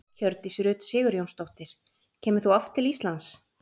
Hjördís Rut Sigurjónsdóttir: Kemur þú oft til Íslands?